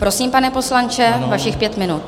Prosím, pane poslanče, vašich pět minut.